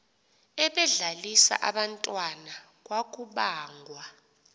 ebedlalisa abantwana kwakubangwa